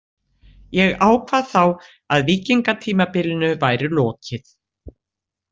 Ég ákvað þá að víkingatímabilinu væri lokið.